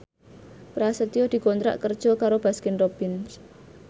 Prasetyo dikontrak kerja karo Baskin Robbins